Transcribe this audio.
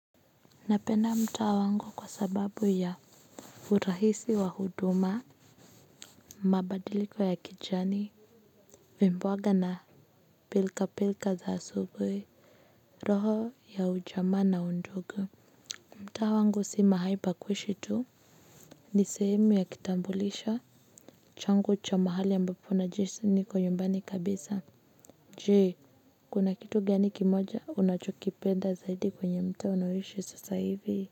Napenda mtaa wangu kwa sababu ya urahisi wa huduma. Mabadiliko ya kijani vimboga na pilka pilka za asubuhi roho ya ujamaa na undugu mtaa wangu si mahali pa kuishi tu. Ni sehemu ya kitambulisho changu cha mahali ambapo najihisi niko nyumbani kabisa. Je kuna kitu gani kimoja unachokipenda zaidi kwenye mtaa unaoishi sasa hivi. Kwa hivyo.